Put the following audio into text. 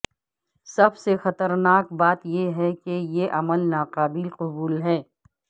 سب سے خطرناک بات یہ ہے کہ یہ عمل ناقابل قبول ہے